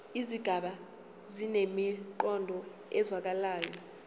izigaba zinemiqondo ezwakalayo